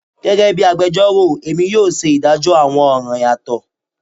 Gẹgẹbi agbẹjọro Emi yoo ṣe idajọ awọn ọran yatọ